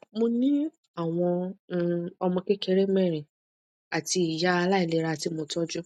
mo ní àwọn um ọmọ kékeré mẹrin àti ìyá aláìlera tí mo tọjú